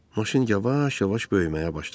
Maşın yavaş-yavaş böyüməyə başladı.